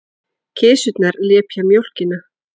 Kisurnar lepja mjólkina.